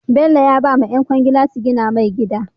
Bello ya bawa yan kwangila su gina mai gida